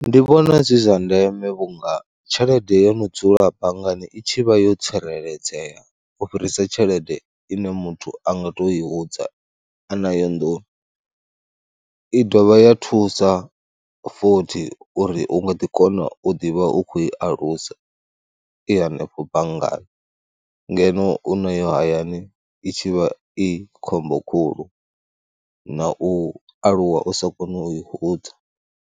Ndi vhona zwi zwa ndeme vhunga tshelede ye mudzulabangani i tshi vha yo tsireledzea u fhirisa tshelede ine muthu a nga tou i hudza a nayo nḓuni. I dovha ya thusa futhi uri u nga ḓikona u ḓi vha u khou i alusa i hanefho banngani ngeno u nayo hayani i tshi vha i khombo khulu na u aluwa u sa koni u i hudza.